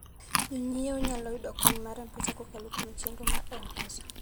Jonyiewo nyalo yudo kony mar pesa kokalo kuom chenro mar M-Pesa.